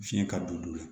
Fiɲɛ ka bon o la